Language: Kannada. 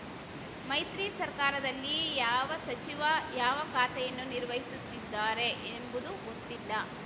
ಮೈತ್ರಿ ಸರ್ಕಾರದಲ್ಲಿ ಯಾವ ಸಚಿವ ಯಾವ ಖಾತೆಯನ್ನು ನಿರ್ವಹಿಸುತ್ತಿದ್ದಾರೆ ಎಂಬುದು ಗೊತ್ತಿಲ್ಲ